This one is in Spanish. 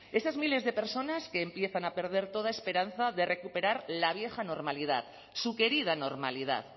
esas miles de personas que empiezan a perder toda esperanza de recuperar la vieja normalidad su querida normalidad